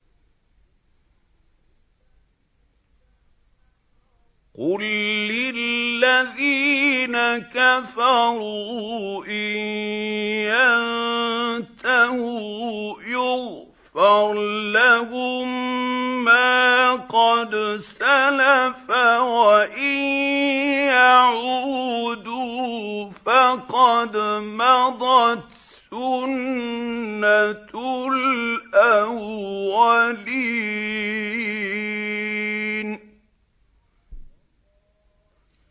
قُل لِّلَّذِينَ كَفَرُوا إِن يَنتَهُوا يُغْفَرْ لَهُم مَّا قَدْ سَلَفَ وَإِن يَعُودُوا فَقَدْ مَضَتْ سُنَّتُ الْأَوَّلِينَ